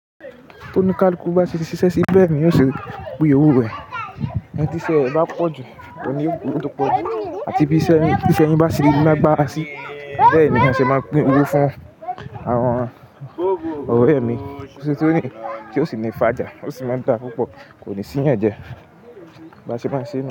Tó ní ká likú bá ti ṣiṣẹ́ sí bẹ́ẹ̀ ni yóò ṣe pín owó rẹ̀ ẹni tí iṣẹ́ rẹ̀ bá pọ̀ jù, òun ní yóò gba owó tó pọ̀ jù. Àti bí iṣẹ́ yín bá ṣe lágbára sí, bẹ́ẹ̀ ni ma ṣe máa pín owó fún àwọn ọ̀rẹ́ mi. Tí ó sì ní fájà, ó sì máa ń dá púpọ̀, kò ní sí ìyànjẹ. Ba ṣe máa ṣe ni yẹn.